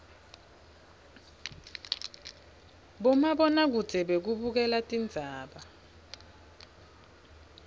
bomabona kudze bekubukela tindzaba